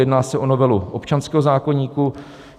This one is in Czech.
Jedná se o novelu občanského zákoníku.